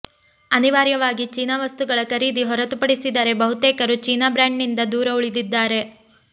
ಅನಿವಾರ್ಯವಾಗಿ ಚೀನಾ ವಸ್ತುಗಳ ಖರೀದಿ ಹೊರತುಪಡಿಸಿದರೆ ಬಹುತೇಕರು ಚೀನಾ ಬ್ರ್ಯಾಂಡ್ನಿಂದ ದೂರ ಉಳಿದಿದ್ದಾರೆ